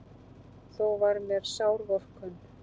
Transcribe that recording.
Þó var mér sár vorkunn.